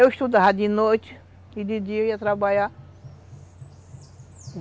Eu estudava de noite e de dia eu ia trabalhar.